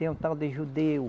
Tem um tal de judeu.